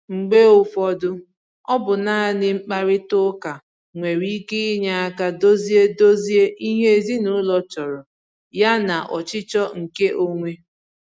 Mgbe ụfọdụ, ọ bụ naanị mkparịta ụka nwere ike inye aka dozie dozie ihe ezinụlọ chọrọ yana ọchịchọ nke onwe